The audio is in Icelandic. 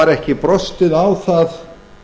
var ekki brostið á það